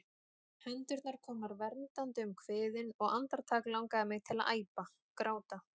Hendurnar komnar verndandi um kviðinn, og andartak langar mig til að æpa, gráta.